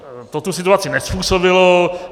To tu situaci nezpůsobilo.